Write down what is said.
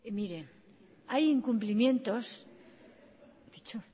miren hay incumplimientos he dicho